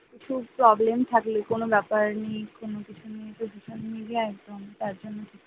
খুব problem থাকলে কোন ব্যাপার নিয়ে কোন কিছু নিয়ে একদম তার জন্য,